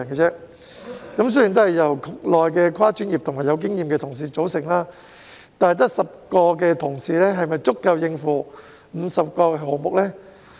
雖然辦事處是由局內跨專業和富經驗的同事組成，但只有10人是否足以應付50個項目呢？